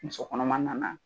Muso kɔnɔma na na.